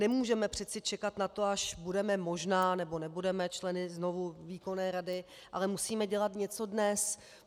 Nemůžeme přece čekat na to, až budeme možná, nebo nebudeme členy znovu výkonné rady, ale musíme dělat něco dnes.